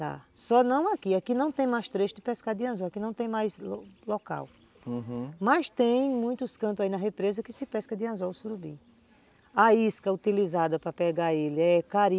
Dá, só não aqui, aqui não tem mais trecho de pescar de anzol. Aqui não tem mais local, uhum, mas tem muitos cantos aí na represa que se pesca de anzol o surubim. A isca utilizada para pegar ele é cari.